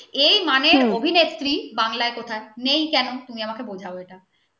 এই মানে অভিনেত্রী বাংলায় কথা নেই কেন তুমি আমাকে বোঝাবে এটা কি কারন